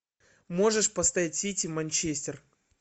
можешь поставить сити манчестер